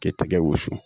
K'i tɛgɛ wusu